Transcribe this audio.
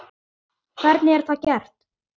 Hvernig er það gert?